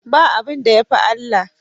Ba abinda yafi Allah